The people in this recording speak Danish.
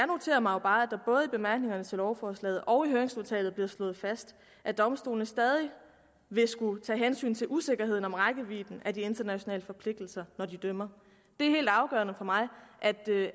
noterer mig at der både i bemærkningerne til lovforslaget og i høringsnotatet bliver slået fast at domstolene stadig vil skulle tage hensyn til usikkerheden om rækkevidden af de internationale forpligtelser når de dømmer det er helt afgørende for mig